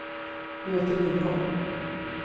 Göte Lindholm